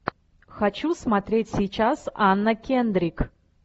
хочу смотреть сейчас анна кендрик